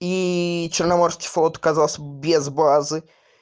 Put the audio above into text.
и черноморский флот оказался без базы